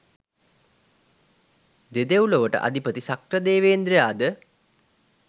දෙදෙව් ලොවට අධිපති ශක්‍රදේවේන්ද්‍රයා ද